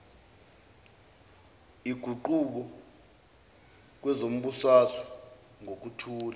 iguquko kwezombusazwe ngokuthula